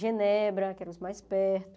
Genebra, que era o mais perto.